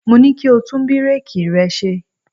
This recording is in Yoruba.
Mo ní kí o tún búréèkì rẹ ṣe.